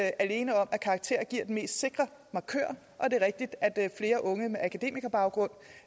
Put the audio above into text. alene om at karakterer giver den mest sikre markør og det er rigtigt at flere unge med akademikerbaggrund